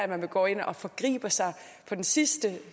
man går ind og forgriber sig på den sidste